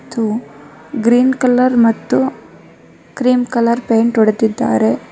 ಇದು green colour ಮತ್ತು cream colour paint ಹೊಡೆದಿದ್ದಾರೆ.